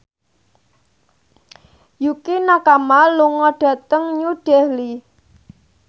Yukie Nakama lunga dhateng New Delhi